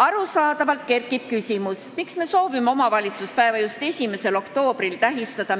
Arusaadavalt kerkib küsimus, miks me soovime tähistada omavalitsuspäeva just 1. oktoobril,